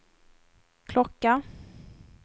klocka